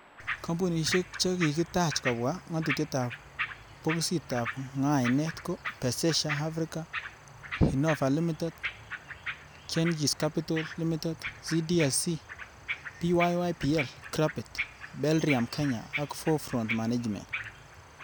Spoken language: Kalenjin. Kompunisiek che kikitaach kobwa ngatutietab bokisitab ngainet ko, Pezesha Afrika, Innova lmtd,Genghis capital limited, CDSC,Pyypl grupit, Belrium Kenya ak Four front management.